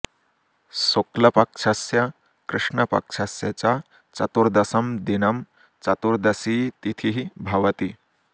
शुक्लपक्षस्य कृष्णपक्षस्य च चतुर्दशं दिनं चतुर्दशी तिथिः भवति